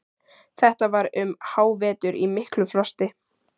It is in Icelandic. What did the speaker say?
Þetta var um hávetur í miklu frosti.